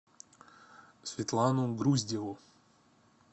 светлану груздеву